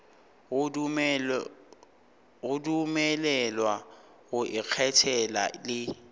go dumelelwa go ikgethela le